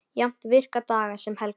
Jafnt virka daga sem helga.